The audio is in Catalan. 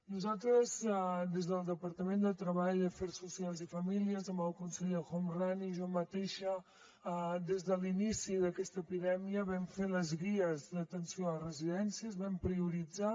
nosaltres des del departament de treball afers socials i famílies amb el conseller homrani i jo mateixa des de l’inici d’aquesta epidèmia vam fer les guies d’atenció a les residències les vam prioritzar